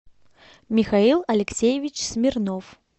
михаил алексеевич смирнов